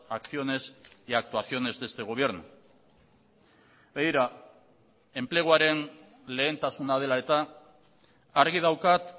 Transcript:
acciones y actuaciones de este gobierno begira enpleguaren lehentasuna dela eta argi daukat